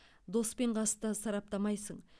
дос пен қасты сараптамайсың